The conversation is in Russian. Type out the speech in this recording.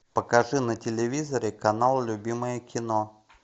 покажи на телевизоре канал любимое кино